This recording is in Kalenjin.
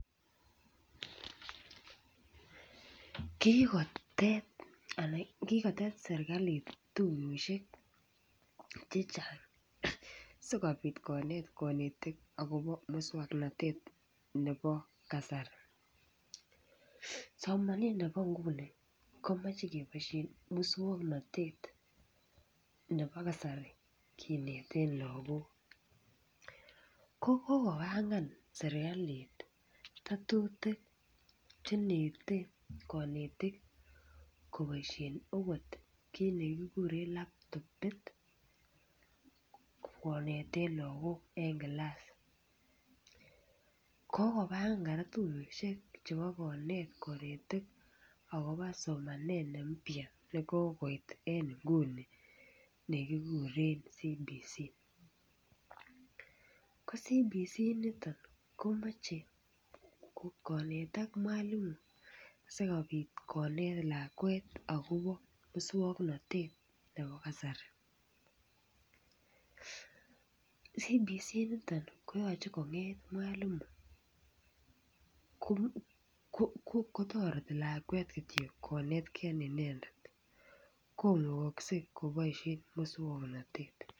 Kikotet ana kikotet sirkalit tuyoshek chechang sikopit konet konetik akobo muswoknotet nebo kasari, somanet nebo nguni komoche keboishen muswoknotet nebo kasari kinetet lokok ko kokobangan sirkalit tetutik chenete konetik koboishen okot kit nekikuren laptopit kineten lokok en kilasa. Kokopange koraa tuyoshek chebo konet konetika Kobo somenet ne mpya nekokoit en inguni nekikuren CBC, ko CBC niton komoche konetak mwalimu sikopit konet lakwet akobo muswoknotet nebo kasari. CBC niton koyoche konget mwalimu ko kotoreti lakwet kityok konetgee inendet komukokse koboishen muswoknotet.